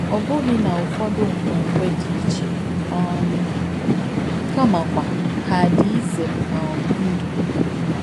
Ọ̀ bùghī nà ọ̀fọ̀dū ǹkwèǹkwè dí ìchè um kàmàkwà hà dí ìzē um ǹdú?